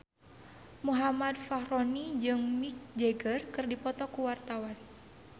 Muhammad Fachroni jeung Mick Jagger keur dipoto ku wartawan